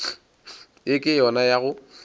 ye ke yona ya go